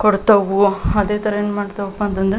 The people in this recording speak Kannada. ಕೊಡ್ತವು ಅದೇ ತರ ಏನ್ ಮಾಡ್ತವಪ್ಪ ಅಂಥಾನ್ದ್ರೆ --